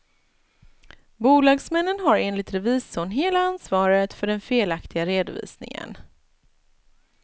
Bolagsmännen har enligt revisorn hela ansvaret för den felaktiga redovisningen.